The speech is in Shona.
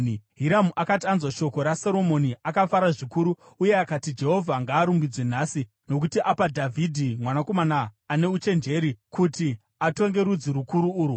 Hiramu akati anzwa shoko raSoromoni, akafara zvikuru, uye akati, “Jehovha ngaarumbidzwe nhasi, nokuti apa Dhavhidhi mwanakomana ane uchenjeri kuti atonge rudzi rukuru urwu.”